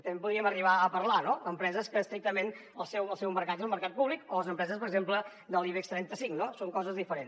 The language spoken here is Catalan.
en podríem arribar a parlar no d’empreses que estrictament el seu mercat és el mercat públic o de les empreses per exemple de l’ibex trenta cinc no són coses diferents